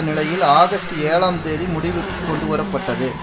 நிலையில் ஆகஸ்ட் ஏழாம் தேதி முடிவுக்கு கொண்டுவர பட்டது